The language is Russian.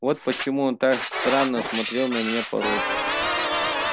вот почему он так странно смотрит на меня порой